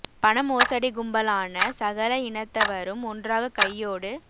பணமோசடிக்கும்பலான சகல இனத்தவ்ரும் ஒன்றாக கையோடு